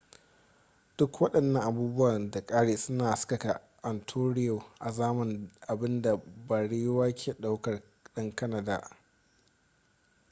duk waɗannan abubuwa da ƙari suna haskaka ontario azaman abin da barewa ke ɗaukar ɗan kanada